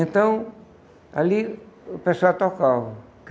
Então, ali o pessoal tocava.